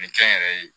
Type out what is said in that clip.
Nin kɛ n yɛrɛ ye